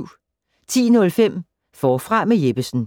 10:05: Forfra med Jeppesen